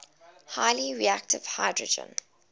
highly reactive hydrogen